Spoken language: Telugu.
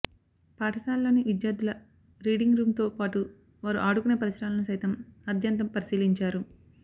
పాఠాశాలలోని విద్యార్థుల రీడింగ్ రూంతో పాటు వారు ఆడుకొనే పరిసరాలను సైతం ఆద్యంతం పరిశీలించారు